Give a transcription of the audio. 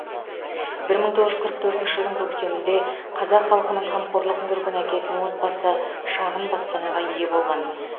бір мың тоғыз жүз қырық төртінші жылдың көктемінде қазақ халқының қамқорлығын көрген әкесінің отбасы шағын баспанаға ие болған